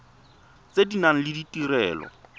tse di nang le ditirelo